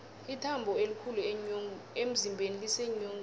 ithambo elikhulu emzimbeni liseenyongeni